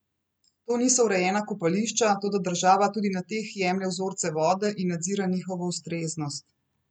To niso urejena kopališča, toda država tudi na teh jemlje vzorce vode in nadzira njihovo ustreznost.